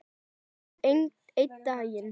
Kannski einn daginn.